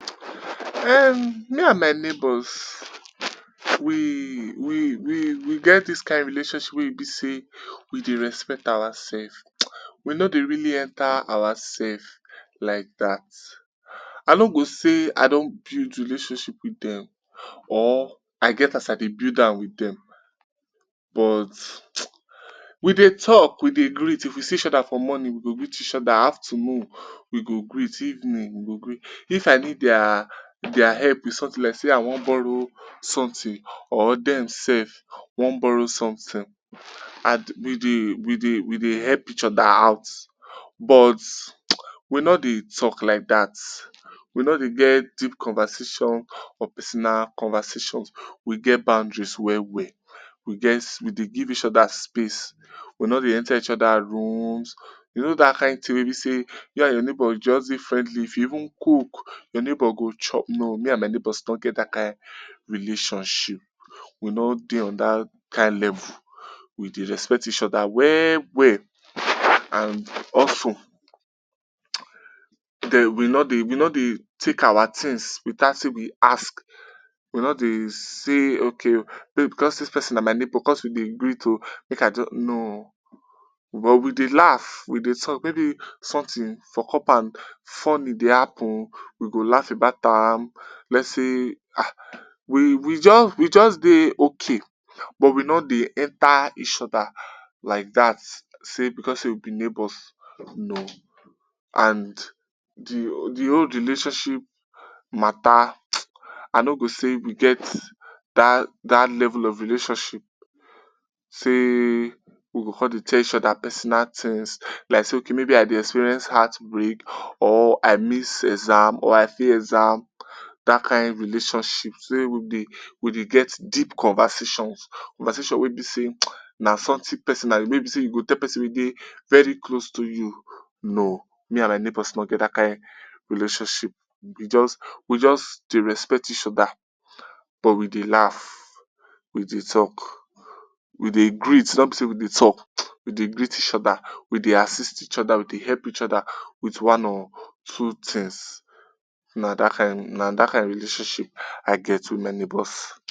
um me and my neighbors we we we we get dis kain relationship wey e be sey we dey respect our self. We no det really enter our self like dat, I no go sey I don build relationship wit dem or I get as I dey build am wi dem but we dey talk, we dey greet, if we see each oda for morning we go greet each oda, afternoon we go greet, evening we go greet. If I need dia dia help wit somtin like sey I wan borrow somtin or dem self wan borrow somtin and we dey we dey we dey help each oda out but we no dey talk like dat, we no dey get deep conversation or personal conversations, we get boundaries well well. We get we dey give each oda space, we no dey enter each oda rooms, you know dat kain tin wey you and your neighbor just dey friendly if you even cook your neighbor goo chweop. No me and my neighbors no get dat kain relationship, we no dey on dat kain level, we dey respect each oda well well and also den we no dey we no dey take our tins without sey we ask, we no dey say okay o maybe because sey dis pesin na my neighbor because we dey greet o make I just no o but we dey laugh, we dey talk, maybe somtin for compound funny dey happen we go laugh about am, lets say ah we we just dey okay but we no dey enter each oda like dat sey because sey we be neighbors no and di di whole relationship mata I no go sey we get dat dat level of relationship sey we go come dey tell each oda ppersona tins like sey maybe I dey experience heartbreak or I miss exam or I fail exam, dat akin relationship sey we dey we dey get deep conversations, conversations wey be sey na somtin personal wey be sey you go tell pesin wey be dey very close to you. No me and my neighbors no get dat kain relationship, we just we just dey respect each oda but we dey laugh, we dey talk, we dey greet no be sey we dey talk, we dey greet each oda, we dey assist each oda, we dey help each oda wit one or two tins. Na dat kain, na dat akin relationship I get wit my neighbors